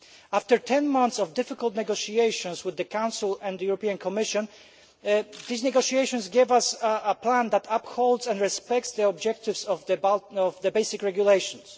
After 10 months of difficult negotiations with the Council and the Commission, these negotiations gave us a plan that upholds and respects the objectives of the basic regulations.